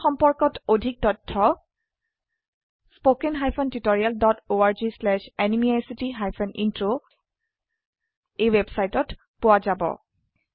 এই মিশ্যন সম্পৰ্কত অধিক তথ্য spoken hyphen tutorial dot org slash এনএমইআইচিত হাইফেন ইন্ট্ৰ ৱেবচাইটত পোৱা যাব